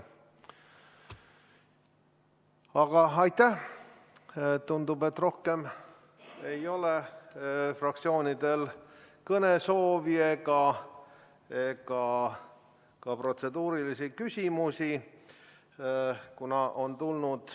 Aga tundub, et rohkem ei ole fraktsioonidel kõnesoovi ega ka protseduurilisi küsimusi.